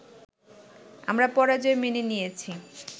আমরা পরাজয় মেনে নিয়েছি